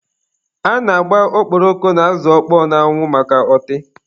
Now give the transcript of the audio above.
A na-agba okporoko na azụ ọkpọọ n'anwụ maka ọtị.